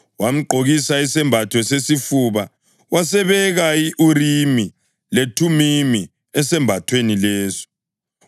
Wamgqokisa isembatho sesifuba wasebeka i-Urimi leThumimi esambathweni leso.